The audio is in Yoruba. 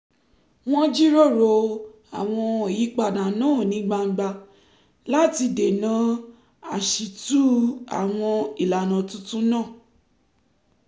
wọ́n jíròrò àwọn ìyípadà náà ní gbangba láti dènà àṣìtú àwọn ìlànà tuntun náà